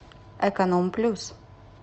эконом плюс